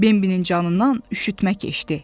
Bambinin canından üşütmə keçdi.